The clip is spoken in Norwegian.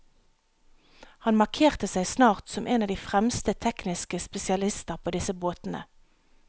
Han markerte seg snart som en av de fremste tekniske spesialister på disse båtene.